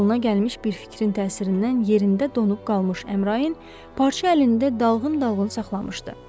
qoluna gəlmiş bir fikrin təsirindən yerində donub qalmış Əmrain parça əlində dalğın-dalğın saxlamışdı.